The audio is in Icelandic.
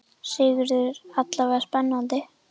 Sigurður: Alla vega spennandi?